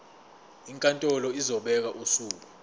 inkantolo izobeka usuku